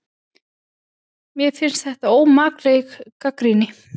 Mér finnst þetta ómakleg gagnrýni